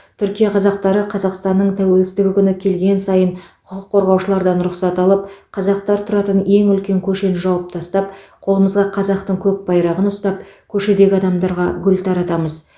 түркия қазақтары қазақстанның тәуелсіздігі күні келген сайын құқық қорғаушылардан рұқсат алып қазақтар тұратын ең үлкен көшені жауып тастап қолымызға қазақтың көк байрағын ұстап көшедегі адамдарға гүл таратамыз